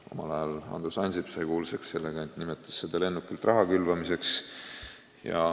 Omal ajal sai Andrus Ansip kuulsaks sellega, et nimetas seda lennukilt raha külvamiseks.